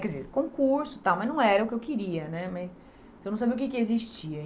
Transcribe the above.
Quer dizer, concurso e tal, mas não era o que eu queria, né, mas se eu não sabia o que que existia.